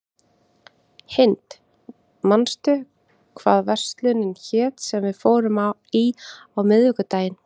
Hind, manstu hvað verslunin hét sem við fórum í á miðvikudaginn?